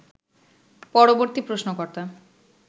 পরবর্তী প্রশ্নকর্তা